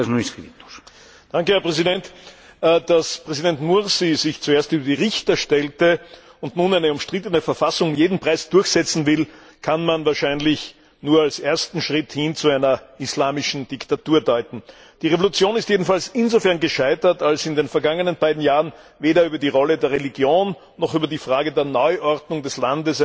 Herr Präsident! Dass Präsident Mursi sich zunächst über die Richter stellte und nun eine umstrittene Verfassung um jeden Preis durchsetzen will, kann man wahrscheinlich nur als ersten Schritt hin zu einer islamischen Diktatur deuten. Die Revolution ist jedenfalls insofern gescheitert, als in den vergangenen beiden Jahren weder über die Rolle der Religion noch über die Frage der Neuordnung des Landes eine Einigung gelang.